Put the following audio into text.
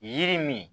Yiri min